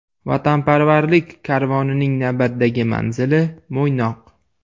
Vatanparvarlik karvonining navbatdagi manzili Mo‘ynoq.